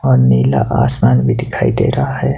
और नीला आसमान भी दिखाई दे रहा है।